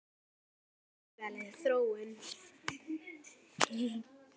Það er agaleg þróun.